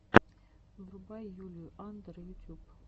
врубай юлию андр ютюб